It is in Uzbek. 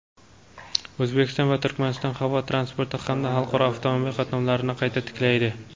O‘zbekiston va Turkmaniston havo transporti hamda xalqaro avtomobil qatnovlarini qayta tiklaydi.